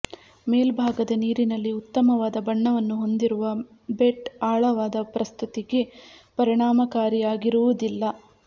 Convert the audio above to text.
ಮೇಲ್ಭಾಗದ ನೀರಿನಲ್ಲಿ ಉತ್ತಮವಾದ ಬಣ್ಣವನ್ನು ಹೊಂದಿರುವ ಬೆಟ್ ಆಳವಾದ ಪ್ರಸ್ತುತಿಗೆ ಪರಿಣಾಮಕಾರಿಯಾಗಿರುವುದಿಲ್ಲ